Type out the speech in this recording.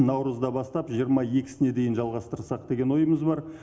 наурызда бастап жиырма екісіне дейін жалғастырсақ деген ойымыз бар